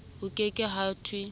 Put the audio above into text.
ho ke ke ha thwe